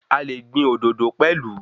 A le gbìn òdòdó pelu